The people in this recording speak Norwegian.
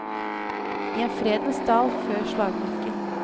I en fredens dal før slagmarken.